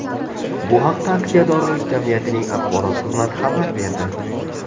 Bu haqda aksiyadorlik jamiyatining axborot xizmati xabar berdi .